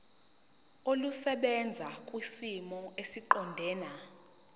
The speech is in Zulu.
olusebenza kwisimo esiqondena